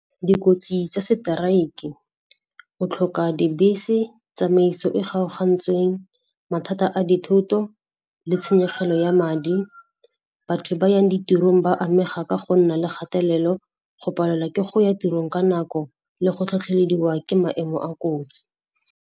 Dikotsi tsa seteraeke, go tlhoka dibese, tsamaiso e kgaogantsweng, mathata a dithoto le tshenyegelo ya madi. Batho ba yang ditirong ba amega ka go nna le kgatelelo, go palelwa ke go ya tirong ka nako le go tlhotlhelediwa ke maemo a kotsi.